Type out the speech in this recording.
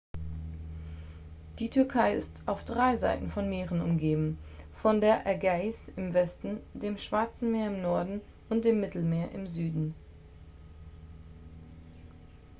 die türkei ist auf drei seiten von meeren umgeben von der ägäis im westen dem schwarze meer im norden und dem mittelmeer im süden